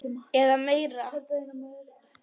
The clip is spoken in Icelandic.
Eða meiri.